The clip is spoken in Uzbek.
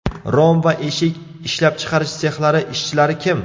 Rom va eshik ishlab chiqarish sexlari ishchilari kim?